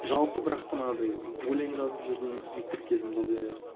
жалпы бірақ та мынадай өлең жазып жүрдім мектеп кезімде де